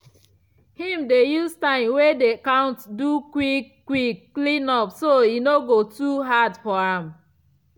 i dey turn clean up for house to game for my pikin dem so dem go enjoy am.